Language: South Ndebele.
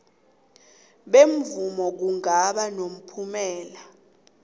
bemvumo kungaba nomphumela